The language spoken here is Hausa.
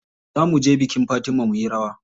Za muje bikin Fatima muyi rawa.